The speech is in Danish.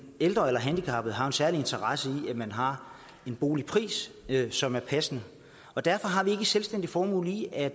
ældre eller handicappede har jo en særlig interesse i at man har en boligpris som er passende derfor har vi ikke et selvstændigt formål i at